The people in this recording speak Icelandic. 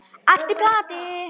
Allt í plati.